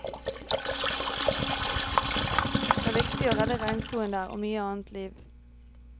Det er viktig å redde regnskogen der og mye annet liv.